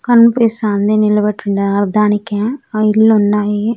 కనిపిస్తాంది నిలబెట్టి ఉండలే దానికా ఆ ఇళ్లున్నాయి.